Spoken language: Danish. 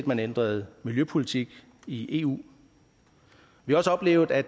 man ændrede miljøpolitik i eu vi har også oplevet at